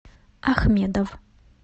ахмедов